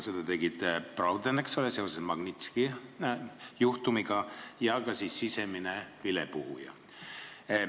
Seda nõudis William Browder, eks ole, seoses Magnitski juhtumiga ja ka sisemine vilepuhuja.